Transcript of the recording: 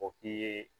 O k'i ye